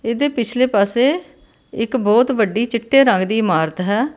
ਇਹਦੇ ਪਿਛਲੇ ਪਾਸੇ ਇੱਕ ਬਹੁਤ ਵੱਡੀ ਚਿੱਟੇ ਰੰਗ ਦੀ ਇਮਾਰਤ ਹੈ।